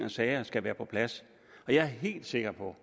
og sager skal være på plads og jeg er helt sikker på